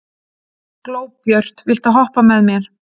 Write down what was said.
Glóbjört, viltu hoppa með mér?